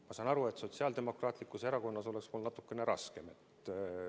Ma saan aru, et Sotsiaaldemokraatlikus Erakonnas oleks mul natukene raskem.